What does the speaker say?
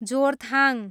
Jorethang